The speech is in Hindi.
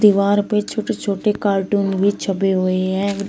दीवार पे छोटे छोटे कार्टून भी छपे हुए हैं।